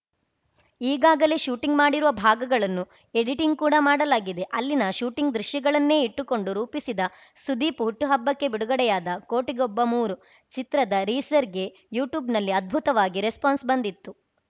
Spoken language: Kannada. ಈಗಾಗಲೇ ಶೂಟಿಂಗ್‌ ಮಾಡಿರುವ ಭಾಗಗಳನ್ನು ಎಡಿಟಿಂಗ್‌ ಕೂಡ ಮಾಡಲಾಗಿದೆ ಅಲ್ಲಿನ ಶೂಟಿಂಗ್‌ ದೃಶ್ಯಗಳನ್ನೇ ಇಟ್ಟುಕೊಂಡು ರೂಪಿಸಿದ ಸುದೀಪ್‌ ಹುಟ್ಟುಹಬ್ಬಕ್ಕೆ ಬಿಡುಗಡೆಯಾದ ಕೋಟಿಗೊಬ್ಬ ಮೂರು ಚಿತ್ರದ ರೀಸರ್‌ಗೆ ಯೂಟ್ಯೂಬ್‌ನಲ್ಲಿ ಅದ್ಭುತವಾಗಿ ರೆಸ್ಪಾನ್ಸ್‌ ಬಂದಿತ್ತು